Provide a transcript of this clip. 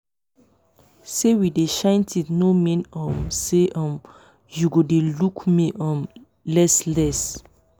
say we dey shine teeth no mean um say um you go dey look me um less less